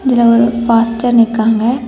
இதுல ஒரு பாஸ்டர் நிக்காங்க.